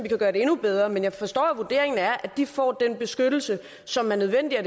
gøre det endnu bedre men jeg forstår at vurderingen er at de får den beskyttelse som er nødvendig og